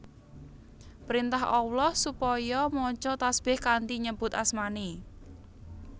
Printah Allah supaya maca tasbih kanthi nyebut asmaNé